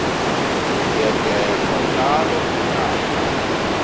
zibuyekezwa njalo ngonyaka